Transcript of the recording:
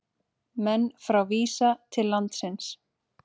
Menn frá Visa til landsins